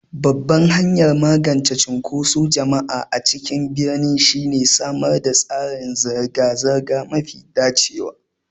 Babban hanyar magance cunkoson jama'a a cikin birni shine samar da tsarin zirga-zirga mafi dacewa.